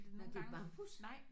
Nåh det er bambus?